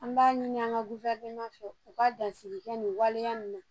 An b'a ɲini an ga fɛ u ka dasigi kɛ nin waleya in na